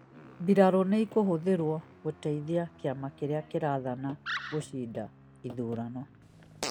mbirarũnĩ ĩkũhũthĩrwo gũteithia kĩama kĩrĩa kĩraathana gũcinda ithurano